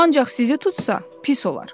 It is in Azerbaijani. Ancaq sizi tutsa, pis olar.